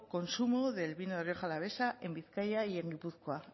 consumo del vino de rioja alavesa en bizkaia y en gipuzkoa